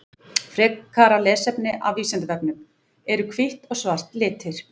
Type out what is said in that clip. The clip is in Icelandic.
Frekara lesefni af Vísindavefnum: Eru hvítt og svart litir?